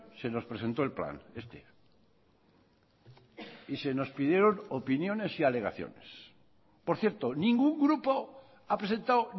se nos presentó el plan este y se nos pidieron opiniones y alegaciones por cierto ningún grupo ha presentado